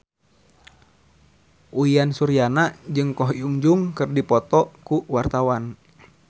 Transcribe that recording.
Uyan Suryana jeung Ko Hyun Jung keur dipoto ku wartawan